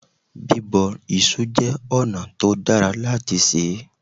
Bíbọ iṣu jẹ́ ọ̀nà tó dára láti sè é.